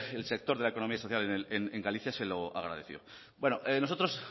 el sector de la economía social en galicia se lo agradeció nosotros